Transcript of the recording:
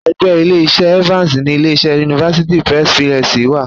Ẹ̀gbẹ́ Ilé-iṣẹ́ Evans ni ilé-iṣẹ́ University Press PLC wa..